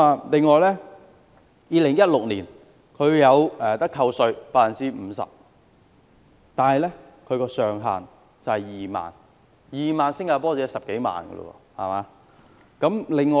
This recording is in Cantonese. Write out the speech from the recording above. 此外 ，2016 年有稅務回扣 50%， 上限是2萬新加坡元，即10多萬港元。